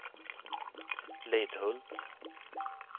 Lidhult